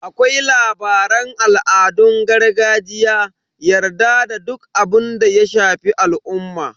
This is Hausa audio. Akwai labaran al'adun gargajiya, yarda da duk abinda ya shafi al'umma.